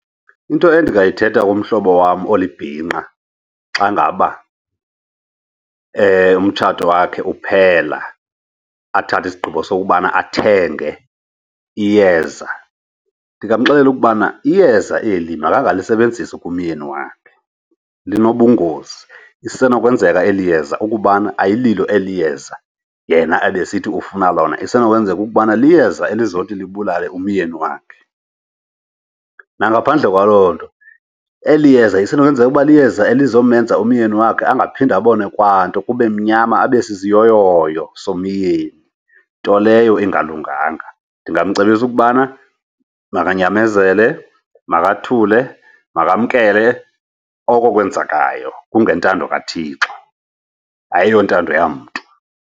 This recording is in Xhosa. Into endingayithetha kumhlobo wam olibhinqa xa ngaba umtshato wakhe uphela athathe isigqibo sokubana athenge iyeza, ndingamxelela ukubana iyeza eli makangalisebenzisi kumyeni wakhe linobungozi. Isenokwenzeka eli yeza ukubana ayililo eli yeza yena ebesithi ufuna lona, isenokwenzeka ukubana liyeza elizawuthi libulale umyeni wakhe. Nangaphandle kwaloo nto, eli yeza isenokwenzeka ukuba liyeza elizomenza umyeni wakhe angaphinde abone kwanto kube mnyama, abe sisiyoyo semini, nto leyo ingalunganga. Ndingamcebisa ukubana makanyamezele, makathule, makamkele oko kwenzekayo. Kungentando kaThixo, ayontando yamntu.